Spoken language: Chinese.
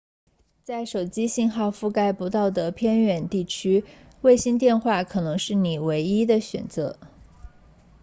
在手机信号覆盖不到的偏远地区卫星电话可能是你的唯一选择